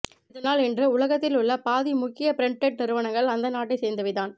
இதனால் இன்று உலகத்தில் உள்ள பாதி முக்கிய ப்ரெண்டெட் நிறுவனங்கள் அந்த நாட்டை சேர்ந்தவை தான்